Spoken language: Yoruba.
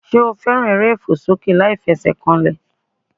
Sé o fẹ́ràn eré ìfòsókè láìfesèkanlè